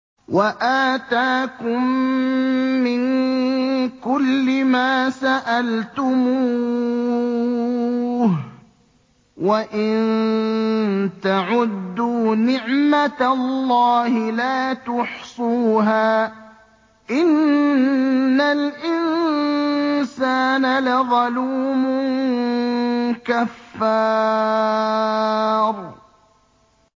وَآتَاكُم مِّن كُلِّ مَا سَأَلْتُمُوهُ ۚ وَإِن تَعُدُّوا نِعْمَتَ اللَّهِ لَا تُحْصُوهَا ۗ إِنَّ الْإِنسَانَ لَظَلُومٌ كَفَّارٌ